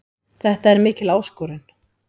Þetta er mikil áskorun.